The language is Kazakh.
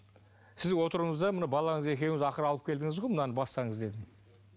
сіз отырыңыз да мына балаңыз екеуіңіз ақыры алып келдіңіз ғой мынаны бастаңыз дедім